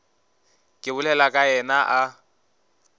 ke bolelago ka yena a